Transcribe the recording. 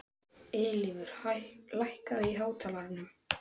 Eilífur, lækkaðu í hátalaranum.